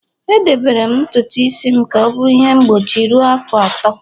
Edebere m ntutu isi m ka ọ bụrụ ihe mgbochi ruo afọ atọ